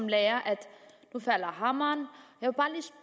lære at nu falder hammeren